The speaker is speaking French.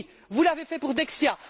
Vous l'avez fait pour Dexia.